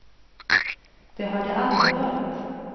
Det har det aldrig varit.